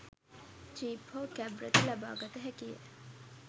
Jeep හෝ cab රථ ලබාගත හැකිය.